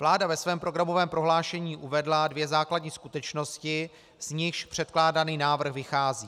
Vláda ve svém programovém prohlášení uvedla dvě základní skutečnosti, z nichž předkládaný návrh vychází.